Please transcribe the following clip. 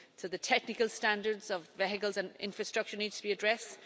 The technical standards of vehicles and infrastructure need to be addressed.